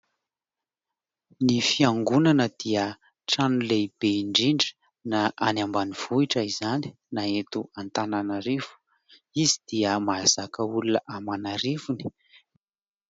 Ny fiangonana dia trano lehibe indrindra na any ambanivohitra izany na eto Antananarivo. Izy dia mahazaka olona aman'arivony.